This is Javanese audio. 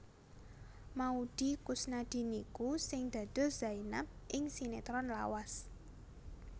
Maudy Koesnadi niku sing dados Zaenab ing sinetron lawas